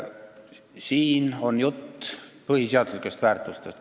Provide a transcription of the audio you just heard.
Siin on jutt põhiseaduslikest väärtustest.